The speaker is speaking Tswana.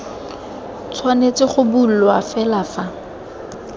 tshwanetse go bulwa fela fa